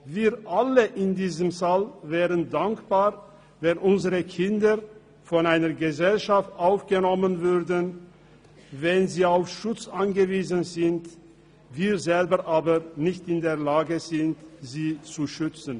Wir alle in diesem Saal wären dankbar, wenn unsere Kinder von einer Gesellschaft aufgenommen würden, wenn sie auf Schutz angewiesen sind, wir selber aber nicht in der Lage sind, sie zu schützen.